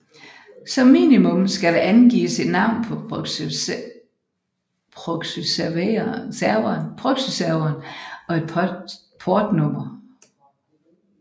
Som minimum skal der angives et navn på proxyserveren og et portnummer